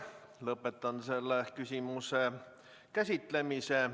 Lõpetan selle küsimuse käsitlemise.